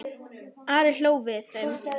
Ari hló við þeim.